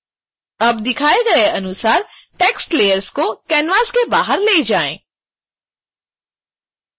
अब दिखाए गए अनुसार text layers को canvas के बाहर ले जाएं